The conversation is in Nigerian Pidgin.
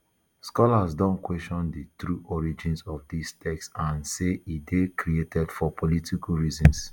scholars don question di true origins of dis text and say e dey created for political reasons